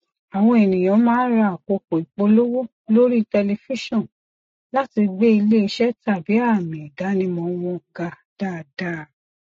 àwọn ènìyàn máa ra àkókò ìpolówó lórí tẹlifísàn láti gbé iléiṣẹ tàbí àmì idanimọ wọn ga dàada